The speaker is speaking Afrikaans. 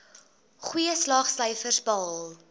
goeie slaagsyfers behaal